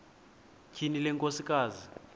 tyhini le nkosikazi